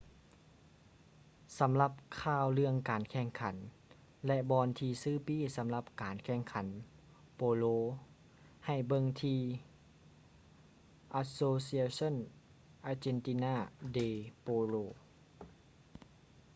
ສຳລັບຂ່າວເລື່ອງການແຂ່ງຂັນ ແລະ ບ່ອນທີ່ຊື້ປີ້ສຳລັບການແຂ່ງຂັນໂປໂລ ໃຫ້ເບິ່ງທີ່ asociacion argentina de polo